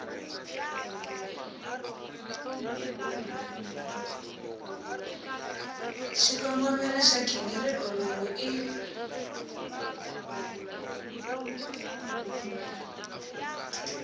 xikongomelo xa nghingiriko lowu i